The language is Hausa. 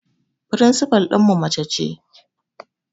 Firinsifal ɗinmu mace ce